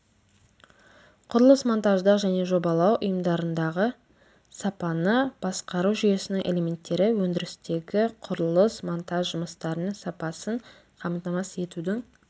құрылыс монтаждық және жобалау ұйымдарындағы сапаны басқару жүйесінің элементтері өндірістегі құрылыс монтаж жұмыстарының сапасын қамтамасыз етудің